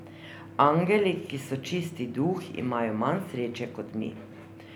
Angeli, ki so čisti duh, imajo manj sreče kot mi.